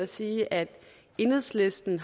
sige at enhedslisten